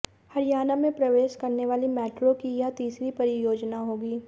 हरियाणा में प्रवेश करने वाली मैट्रो की यह तीसरी परियोजना होगी